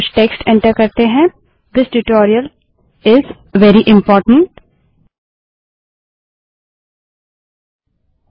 कुछ text enter करें this tutorial is very important यह ट्यूटोरियल बहुत महत्वपूर्ण है